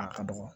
A ka dɔgɔ